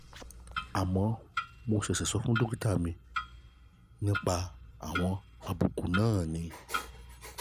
àmọ́ mo ṣẹ̀ṣẹ̀ sọ fún dókítà mi nípa àwọn àbùkù náà ni